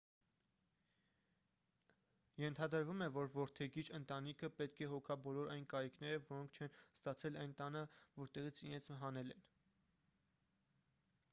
ենթադրվում է որ որդեգիր ընտանիքը պետք է հոգա բոլոր այն կարիքները որոնք չեն ստացել այն տանը որտեղից իրենց հանել են